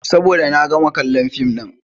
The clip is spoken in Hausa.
Saboda na gama kallon fim ɗin.